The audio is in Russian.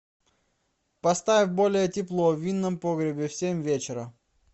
поставь более тепло в винном погребе в семь вечера